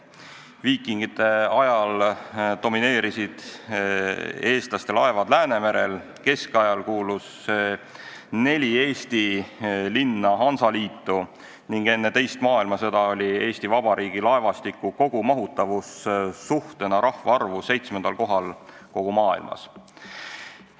Viikingite ajal domineerisid eestlaste laevad Läänemerel, keskajal kuulus neli Eesti linna Hansa Liitu ning enne teist maailmasõda oli Eesti Vabariigi laevastiku kogumahutavus suhtena rahvaarvu seitsmendal kohal kogu maailmas.